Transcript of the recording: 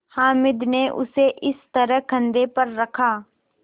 हामिद ने उसे इस तरह कंधे पर रखा